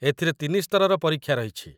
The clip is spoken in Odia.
ଏଥିରେ ତିନି ସ୍ତରର ପରୀକ୍ଷା ରହିଛି